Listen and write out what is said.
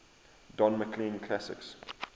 don mclean classics